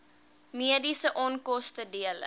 mediese onkoste dele